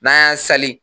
N'an y'an sali